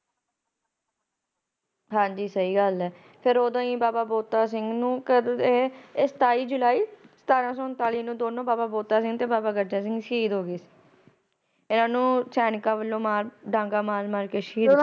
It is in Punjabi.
ਹਾਜੀ ਸਹੀ ਗੱਲ ਆ ਫਿਰ ਉਦੋ ਹੀ ਬਾਬਾ ਬੋਤਾ। ਸਿੰਘ ਤੇ ਬਾਬਾ ਗਰਜਾ ਸਿੰਘ ਸਤਾਈ ਜੁਲਾਈ ਸਤਾਰਾ ਸੋ ਉਨਤਾਲੀ ਈ ਵਿਚ ਦੋਵੇ ਸਹੀ ਹੋ ਗਏ ਉਨਾ ਨੂੰ ਸੈਨਿਕ ਵੱਲੋ ਡਾਗਾ ਮਾਰ ਕੇ ਸਹੀਦ ਕਰ ਦਿੱਤਾ